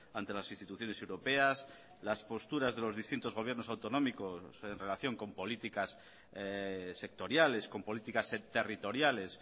ante las instituciones europeas las posturas de los distintos gobiernos autonómicos en relación con políticas sectoriales con políticas territoriales